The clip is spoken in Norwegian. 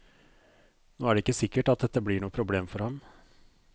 Nå er det ikke sikkert at dette blir noe problem for ham.